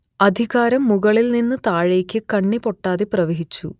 അധികാരം മുകളിൽ നിന്ന് താഴേക്ക് കണ്ണിപൊട്ടാതെ പ്രവഹിച്ചു